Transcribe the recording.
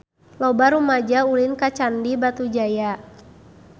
Loba rumaja ulin ka Candi Batujaya